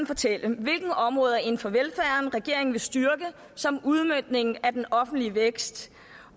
fortælle hvilke områder inden for velfærden regeringen vil styrke som udmøntning af den offentlige vækst